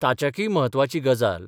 ताच्याक्य म्हत्वाची गजाल.